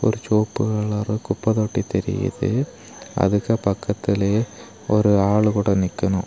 ஒரு சிவப்பு கலர்ல ஒரு குப்பெ தொட்டி தெரியுது அதுக்கு பக்கத்திலேயே ஒரு ஆள் கூட நிக்கணு.